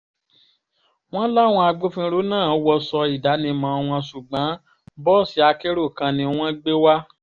wọ́n láwọn agbófinró náà wọṣọ ìdánimọ̀ wọn ṣùgbọ́n bọ́ọ̀sì akérò kan ni wọ́n gbé wá